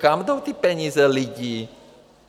Kam jdou ty peníze lidí?